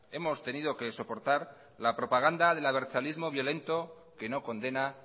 hemos tenido que soportar la propaganda del abertzalismo violento que no condena